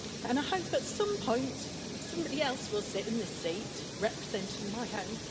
I hope at some point somebody else will sit in this seat representing my home.